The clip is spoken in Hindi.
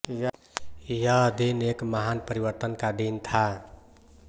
यह दिन एक महान परिवर्तन का दिन था